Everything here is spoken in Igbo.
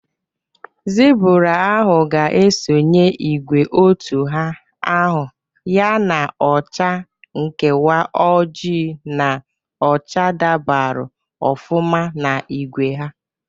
Zibụra ahụ ga esonye ìgwè otu ha, ahụ ya na acha nkewa ojii na ọcha dabarụ ofụma na igwe ha.